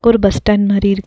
ஒரு bus stand மாரி இரு --